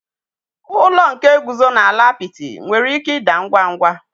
Ụlọ nke guzo n'ala apịtị nwere ike ịda ngwa ngwa.